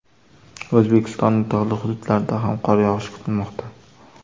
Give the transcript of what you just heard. O‘zbekistonning tog‘li hududlarida ham qor yog‘ishi kutilmoqda.